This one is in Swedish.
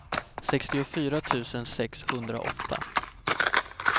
sextiofyra tusen sexhundraåtta